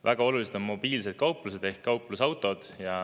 Väga olulised on mobiilsed kauplused ehk kauplusautod.